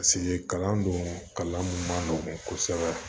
kalan don kalan mun man nɔgɔn kosɛbɛ